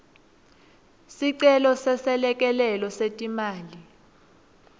sicelo seselekelelo setimali